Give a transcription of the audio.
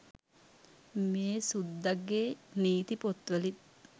මේ සුද්දගෙ නීති පොත්වලින්